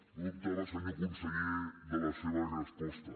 no dubtava senyor conseller de la seva resposta